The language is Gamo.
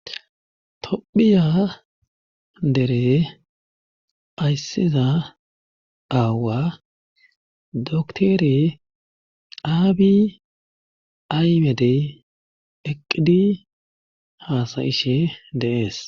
Tophiya dere ayssiza aawa doktore aabi aymedey eqqidi haasayishe deees.